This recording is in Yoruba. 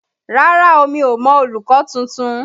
Rárá o, mi ò mọ olùkọ́ tuntun.